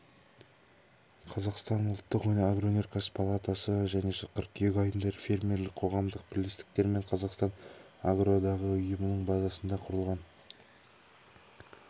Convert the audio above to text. қазақстан ұлттық агроөнеркәсіп палатасы жылы қыркүйек айында фермерлік қоғамдық бірлестіктер мен қазақстан агроодағы ұйымының базасында құрылған